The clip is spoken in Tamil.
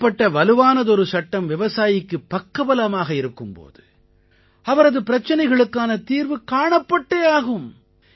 இப்படிப்பட்ட வலுவானதொரு சட்டம் விவசாயிக்குப் பக்கபலமாக இருக்கும் போது அவரது பிரச்சனைக்கான தீர்வு காணப்பட்டே ஆகும்